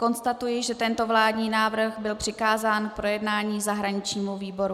Konstatuji, že tento vládní návrh byl přikázán k projednání zahraničnímu výboru.